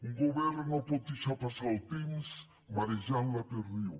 un govern no pot deixar passar el temps marejant la perdiu